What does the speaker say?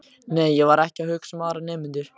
Nei, ég var ekki að hugsa um aðra nemendur.